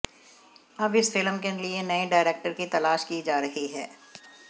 अब इस फिल्म के लिए नए डायरेक्टर की तलाश की जा रही है